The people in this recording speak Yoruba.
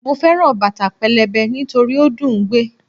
Mo fẹ́ràn bàtà pẹlẹbẹ nítorí ó dùn ún gbé